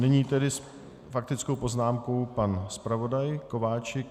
Nyní tedy s faktickou poznámkou pan zpravodaj Kováčik.